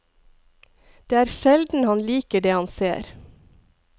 Det er sjelden han liker det han ser.